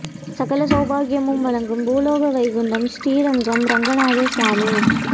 சகல சௌபாக்யமும் வழங்கும் பூலோக வைகுண்டம் ஶ்ரீ ரங்கம் ரங்கநாதர் சுவாமி